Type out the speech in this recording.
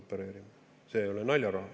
See ei ole naljaraha.